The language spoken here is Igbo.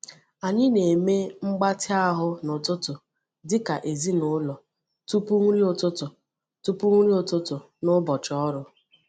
Anyị na-eme mgbatị ahụ n’ụtụtụ dị ka ezinụlọ tupu nri ụtụtụ tupu nri ụtụtụ n’ụbọchị ọrụ.